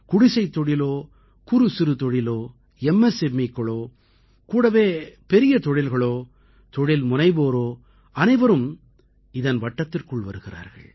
குடிசைத் தொழிலோ குறுசிறு தொழிலோ MSMEக்களோ கூடவே பெரிய தொழில்களோ தொழில் முனைவோரோ அனைவரும் இதன் வட்டத்திற்குள் வருகிறார்கள்